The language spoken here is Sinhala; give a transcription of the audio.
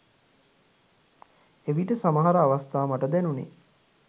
එවිට සමහර අවස්ථා මට දැනුණෙ